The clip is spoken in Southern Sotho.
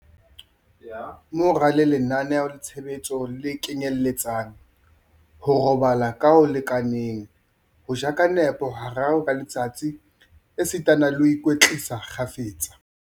Mo ralle lenaneo-tshebetso le kenyeletsang, ho robala ka ho lekaneng, ho ja ka nepo hararo ka letsatsi esitana le ho ikwetlisa kgafetsa.